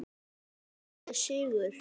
Hún hafði sigur.